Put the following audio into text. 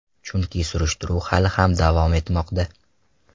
Chunki surishtiruv hali ham davom etmoqda.